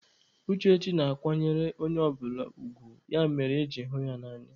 Uchechi na-akwanyere onye ọbụla ugwu, ya mere eji hụ ya n'anya.